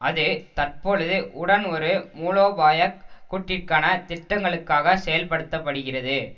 அது தற்பொழுது உடன் ஒரு மூலோபாய கூட்டிற்கான திட்டங்களுக்காக செயல்படுத்த படுகிறது